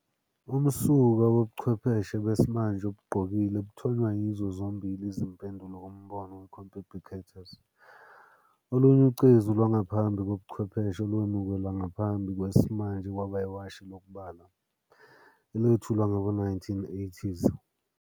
Umsuka wobuchwepheshe besimanje obugqokile buthonywa yizo zombili izimpendulo kumbono we-compi ubiquitous. Olunye ucezu lwangaphambi kobuchwepheshe olwemukelwa ngaphambi kwesimanje kwaba iwashi lokubala, elethulwa ngawo-1980s.